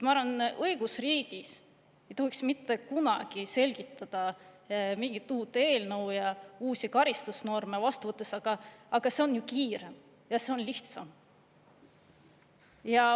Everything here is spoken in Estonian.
Ma arvan, et õigusriigis ei tohiks mitte kunagi selgitada mingit uut eelnõu ja uusi karistusnorme vastu võttes, et aga see on ju kiirem ja lihtsam.